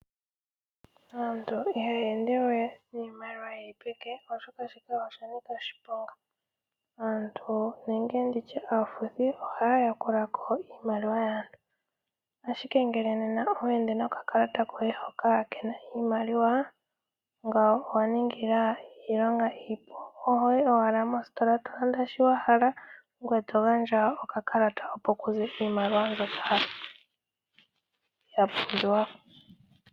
Aantu ihaya ende we niimaliwa yili peke oshoka oshanika oshiponga . Aantu nenge nditye aafuthi ohaya yakula ko iimaliwa yaantu . Ashike ngele nena owa ende nokakalata koye hoka kena iimaliwa ngawo owa ninga iilonga oho yi owala mostola tolanda shi wa hala ngoye togandja okakalata opo kuze iimaliwa mbyoka yapumbiwa.